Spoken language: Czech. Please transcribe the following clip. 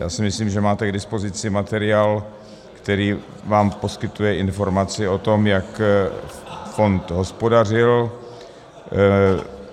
Já si myslím, že máte k dispozici materiál, který vám poskytuje informaci o tom, jak fond hospodařil.